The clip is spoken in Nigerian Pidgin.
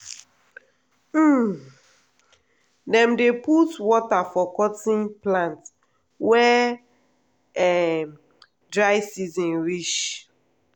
um dem dey put water for cotton plant wen um dry season reach.